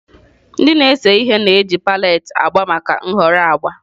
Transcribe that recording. Ndị na-ese ihe na-eji palette agba maka nhọrọ agba.